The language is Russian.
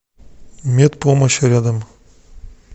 медпомощь рядом